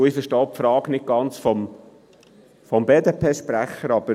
Ich verstehe auch die Frage des BDP-Sprechers nicht ganz.